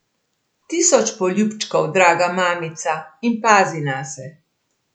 Tisoč poljubčkov, draga mamica, in pazi nase.